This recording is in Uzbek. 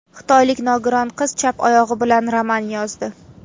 Xitoylik nogiron qiz chap oyog‘i bilan roman yozdi.